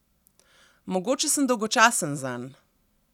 Mogoče sem dolgočasen zanj.